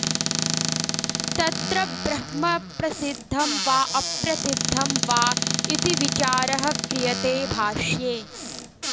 तत्र ब्रह्म प्रसिद्धं वा अप्रसिद्धं वा इति विचारः क्रियते भाष्ये